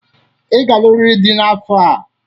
Ị ga-alụrịrị di n'afọ a.